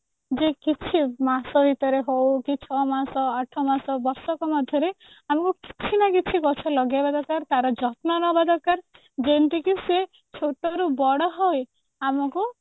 ଯେ କିଛି ମାସ ଭିତରେ ହଉ କି ଛଅ ମାସ ଆଠ ମାସ ବର୍ଷକ ମଧ୍ୟରେ ଆମକୁ କିଛି ନା କିଛି ଗଛ ଲଗେଇବା ଦରକାର ତାର ଯତ୍ନ ନବା ଦରକାର ଯେମିତି କି ସେ ଛୋଟରୁ ବଡ ହୋଇ ଆମକୁ